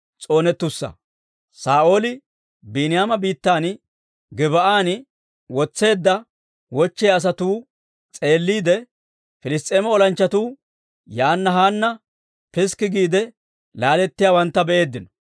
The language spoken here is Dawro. Saa'ooli Biiniyaama biittan, Gib"an wotseedda wochchiyaa asatuu s'eelliide, Piliss's'eema olanchchatuu yaana haana piskki giide laalettiyaawantta be'eeddino.